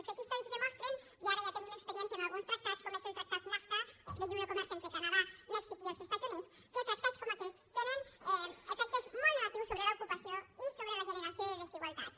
els fets històrics demostren i ara ja tenim experiència amb alguns tractats com és el tractat nafta de lliure comerç entre el canadà mèxic i els estats units que tractats com aquest tenen efectes molt negatius sobre l’ocupació i sobre la generació de desigualtats